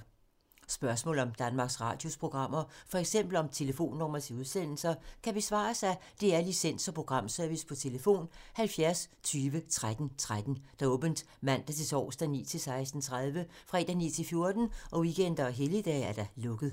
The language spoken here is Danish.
Spørgsmål om Danmarks Radios programmer, f.eks. om telefonnumre til udsendelser, kan besvares af DR Licens- og Programservice: tlf. 70 20 13 13, åbent mandag-torsdag 9.00-16.30, fredag 9.00-14.00, weekender og helligdage: lukket.